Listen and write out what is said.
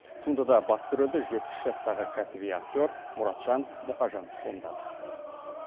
туындыда басты рөлді жетпіс жастағы кәсіби актер мұратжан мұқажанов сомдады